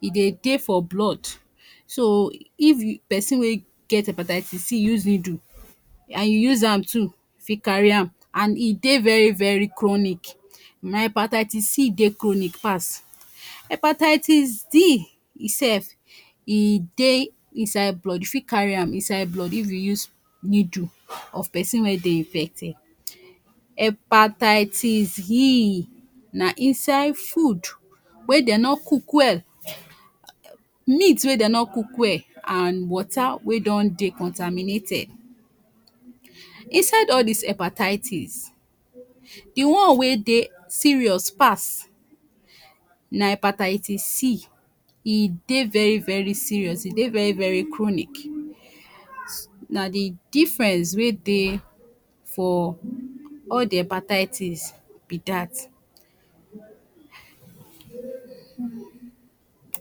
e Dey Dey for blood, so if e person wey get hepatitis c use needle and u use am too you fit carry am and e Dey very very chronic na hepatitis c Dey chronic pass, hepatitis d e sef e Dey inside blood, u fit carry am inside blood if you use needle of person wey Dey infeted, hepatitis he na inside food wey Dey nor cook well, meat wey Dey nor cook well and water wey don Dey contaminated, inside al dis hepatitis d one wey Dey serious pass na hepatitis c, e Dey very very serious, e Dey very very chronic na the difference wey Dey for Al the hepatitis be dat